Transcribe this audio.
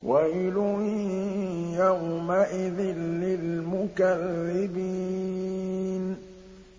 وَيْلٌ يَوْمَئِذٍ لِّلْمُكَذِّبِينَ